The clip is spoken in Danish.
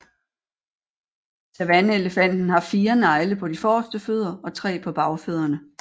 Savanneelefanten har fire negle på de forreste fødder og tre på bagfødderne